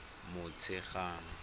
motshegang